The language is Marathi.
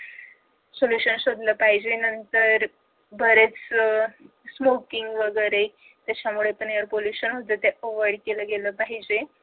sollution शोधलं पाहिजे नंतर बरेच smoking वगैरे त्याच्यामुळे पण air pollution होत ते पण avoid केलं गेलं पाहिजे